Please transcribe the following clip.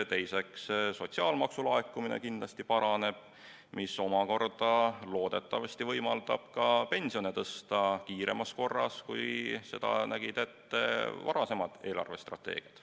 Teiseks, sotsiaalmaksu laekumine kindlasti paraneb ja see omakorda loodetavasti võimaldab ka pensione tõsta kiiremas korras, kui seda nägid ette varasemad eelarvestrateegiad.